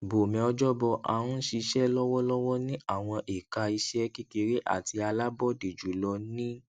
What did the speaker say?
bome ojoboh a n ṣiṣẹ lọwọlọwọ ni awọn eka iṣẹ kekere ati alabọde julọ ni